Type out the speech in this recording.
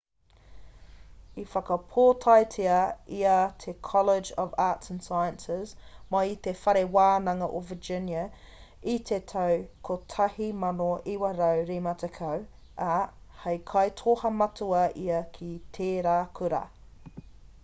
i whakapōtaetia ia i te college of arts & sciences mai i te whare wānanga o virginia i te tau 1950 ā hei kaitoha matua ia ki tērā kura